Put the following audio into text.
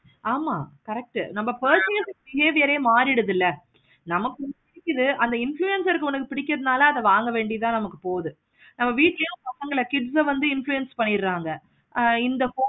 ஆமா correct உ person behavior ஏ மாறிடுதுல நமக்கு பிடிக்குது அந்த அந்த influencer க்கு பிடிக்குறதுனால நம்ம வாங்க வேண்டியது தான் போது நம்ம வீட்டுலையும் பசங்க kids ஆஹ் வந்து influence பண்ணிடுறாங்க. ஆஹ் இந்த